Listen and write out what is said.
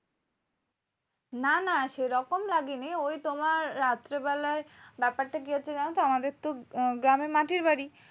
না না সেরকম লাগেনি। ওই তোমার রাত্রি বেলায়, ব্যাপারটা কি হয়েছে জানতো? আমাদের তো গ্রামে মাটির বাড়ি,